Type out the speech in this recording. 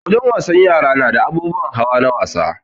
Wajen wasan yara nada abubuwan hawa na wasa